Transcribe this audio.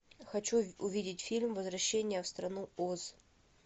хочу увидеть фильм возвращение в страну оз